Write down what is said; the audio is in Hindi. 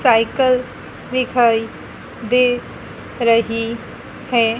साइकिल दिखाई दे रही है।